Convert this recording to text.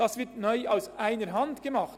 Das wird neu aus einer Hand gemacht.